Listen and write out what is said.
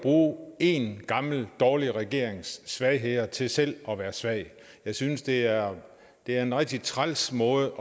bruge en gammel dårlig regerings svagheder til selv at være svag jeg synes det er er en rigtig træls måde